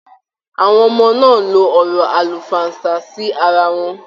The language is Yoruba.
Àwọn ọmọ náà n ló ọ̀rọ̀ àlùfáànsa sí ará wọn.